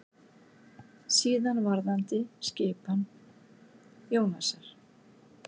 Síðan varðandi skipan Jónasar.